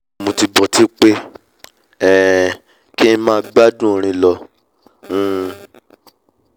mo tìí bọ'tí pé um kí ng máa gbádùn orin um lọ